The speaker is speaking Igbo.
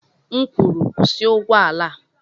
M kwuru, kwụsị ụgbọ ala!